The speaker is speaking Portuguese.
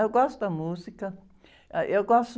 Eu gosto da música. Ãh, eu gosto...